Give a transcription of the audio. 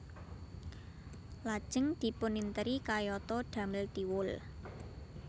Lajeng dipuninteri kayatå damel Thiwul